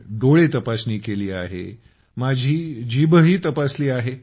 डोळे तपासणी केली आहे माझी जीभही तपासली आहे